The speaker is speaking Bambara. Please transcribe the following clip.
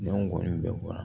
Ɲɔgɔn bɛn bɔra